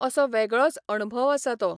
असो वेगळोच अणभव असा तो.